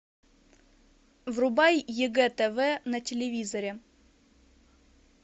врубай егэ тв на телевизоре